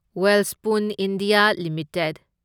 Welspun India limited